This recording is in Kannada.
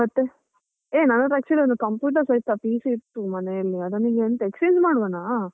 ಮತ್ತೆ, ಯೇ ನನ್ ಹತ್ರ actually computer ಸ ಇತ್ತಾ PC ಇತ್ತು ಮನೇಲಿ, ಅದನ್ನು ಈಗ ಎಂತ exchange ಮಾಡುವನಾ?